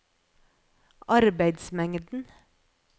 arbeidsmengden